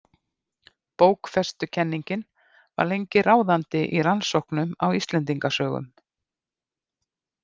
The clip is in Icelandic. Bókfestukenningin var lengi ráðandi í rannsóknum á Íslendingasögum.